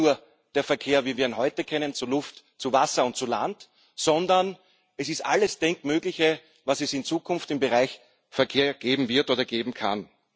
Das ist nicht nur der Verkehr, wie wir ihn heute kennen, zu Luft, zu Wasser und zu Land, sondern es ist alles Denkmögliche, was es in Zukunft im Bereich Verkehr geben wird oder geben kann.